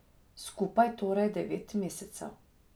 Skupaj torej devet mesecev.